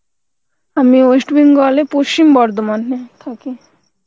আমি West Bengal এ পশ্চিম বর্ধমান এ থাকি